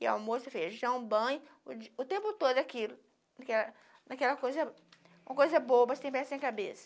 Ia almoço, feijão, banho, o di o tempo todo aquilo, naquela coisa, uma coisa boba, sem pés, sem cabeça.